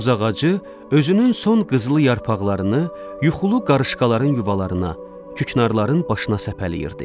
Tozağacı özünün son qızılı yarpaqlarını yuxulu qarışqaların yuvalarına, küknarların başına səpələyirdi.